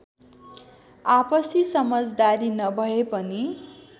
आपसी समजदारी नभए पनि